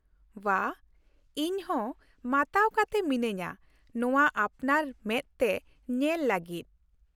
ᱵᱷᱟ! ᱤᱧ ᱦᱚᱸ ᱢᱟᱛᱟᱣ ᱠᱟᱛᱮ ᱢᱤᱱᱟᱹᱧᱟ ᱱᱚᱶᱟ ᱟᱯᱱᱟᱨ ᱢᱮᱫ ᱛᱮ ᱧᱮᱞ ᱞᱟᱹᱜᱤᱫ ᱾